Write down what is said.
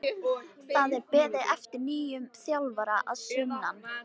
Það er beðið eftir nýjum þjálfara að sunnan.